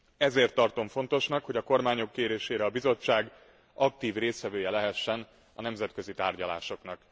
Ezért tartom fontosnak, hogy a kormányok kérésére a Bizottság aktív résztvevője lehessen a nemzetközi tárgyalásoknak.